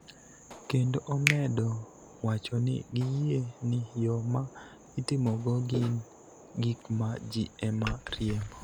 kendo omedo wacho ni giyie ni yo ma itimogo gin gik ma ji ema riembo.